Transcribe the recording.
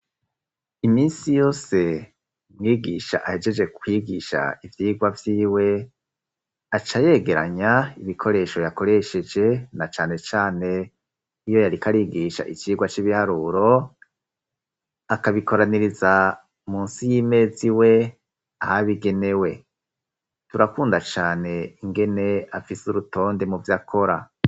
Iminsi yose, mwigisha ahegeje kwigisha ivyigwa vyiwe acayegeranya ibikoresho yakoresheje na cane cane iyo yariko arigisha icirwa c'ibiharuro, akabikoraniriza munsi y'imeza iwe ahabigenewe. Turakunda cane ingene afise urutonde mu vyakora.